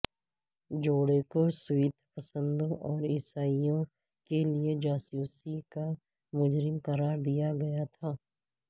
جوڑے کو سوویت پسندوں اور عیسائیوں کے لئے جاسوسی کا مجرم قرار دیا گیا تھا